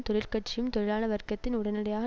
தொழிற்கட்சியும் தொழிலாள வர்க்கத்தின் உடனடியான